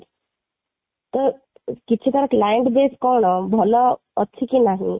ତ କିଛି ତା'ର client base କ'ଣ ଭଲ ଅଛି କି ନାହିଁ